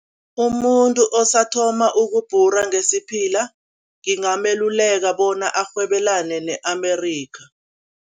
Umuntu osathoma ukubhura ngesiphila, ngingameluleka bona arhwebelane ne-Amerikha.